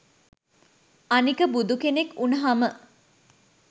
අනික බුදුකෙනෙක් උනහම